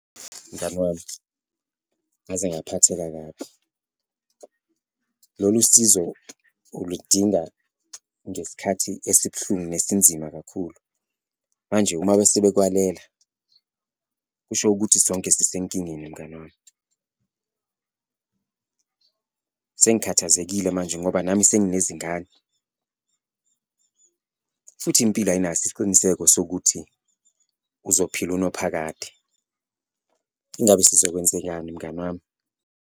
Mngani wami, ngaze ngaphatheka kabi. Lolu sizo uludinga ngesikhathi esibuhlungu nesinzima kakhulu, manje uma bese bekwalela, kusho ukuthi sonke sisenkingeni mngani wami. Sengikhathazekile manje ngoba nami senginezingane futhi impilo ayinaso isiqiniseko sokuthi uzophila unophakade. Ingabe sizokwenzenjani mngani wami?